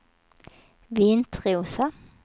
Vintrosa